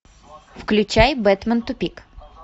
включай бэтмен тупик